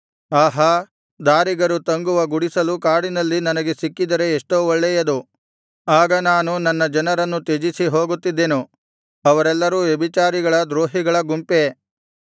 ಆಹಾ ದಾರಿಗರು ತಂಗುವ ಗುಡಿಸಲು ಕಾಡಿನಲ್ಲಿ ನನಗೆ ಸಿಕ್ಕಿದರೆ ಎಷ್ಟೋ ಒಳ್ಳೆಯದು ಆಗ ನಾನು ನನ್ನ ಜನರನ್ನು ತ್ಯಜಿಸಿ ಹೋಗುತ್ತಿದ್ದೆನು ಅವರೆಲ್ಲರೂ ವ್ಯಭಿಚಾರಿಗಳ ದ್ರೋಹಿಗಳ ಗುಂಪೇ